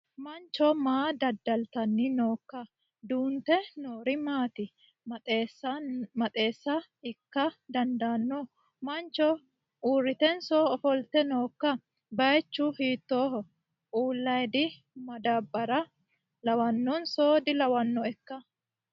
Mancho maa dada'litanni nooikka duunte noori maati maxaaxeessa ikka dandaanno mancho uritenso ofolte noiikka? Baychu hiitooho uulaydi madaabara lawannonso dilawnoikka